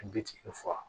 Bitigi faga